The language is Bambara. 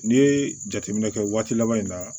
N'i ye jateminɛ kɛ waati laban in na